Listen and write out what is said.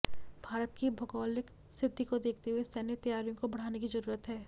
भारत की भौगोलिक स्थिति को देखते हुए सैन्य तैयारियों को बढ़ाने की जरूरत है